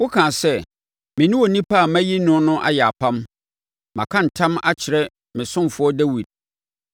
Wokaa sɛ, “Me ne onipa a mayi no no ayɛ apam; maka ntam akyerɛ me ɔsomfoɔ Dawid.